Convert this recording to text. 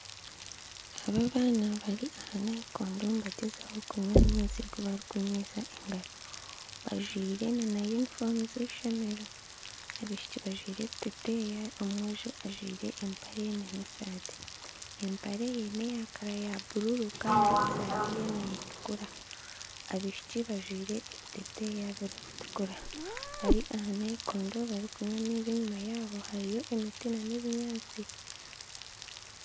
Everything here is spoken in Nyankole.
Aba abaana bari aha nayikondo nibagyezaho kunywa amaizi barikunywisa engaro bajwaire na yunifomu z'eishomero abaishiki bajwaire ebiteteya omwojo ajwaire empare na esaati. Empare ye neya kara ya bururu kandi esaati neetukura abaishiki bajwaire ebiteteya birikutukura bari aha nayikondo barikunywa amaizi enyuma yaabo hariyo emiti nana ebinyantsi.